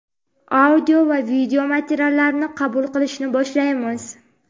audio va video materiallarini qabul qilishni boshlaymiz!.